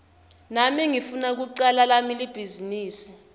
nami ngifuna kucala lami libhizinisi